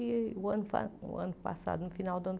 E o ano pa o ano passado no final do ano